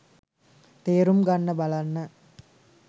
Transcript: තේරුම් ගන්න බලන්න